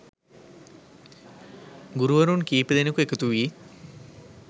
ගුරුවරුන් කීප දෙනෙකු එකතු වී